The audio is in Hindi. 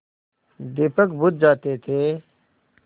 दीपक बुझ जाते थे